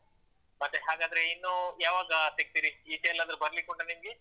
ಮತ್ತೆ ಹಾಗಾದ್ರೆ ಇನ್ನು ಯಾವಾಗ ಸಿಗ್ತೀರಿ? ಈಚೆಯೆಲ್ಲಾದ್ರೂ ಬರ್ಲಿಕ್ಕುಂಟ ನಿಮ್ಗೆ?